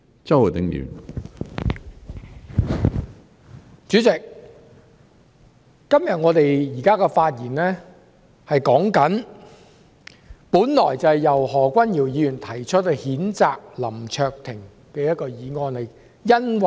主席，我們現時這項辯論，本來是由何君堯議員提出譴責林卓廷議員的議案。